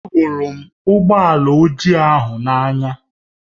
Ahụrụ m ụgbọ ala ojii ahụ n'anya